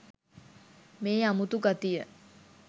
මේ අමුතු ගතිය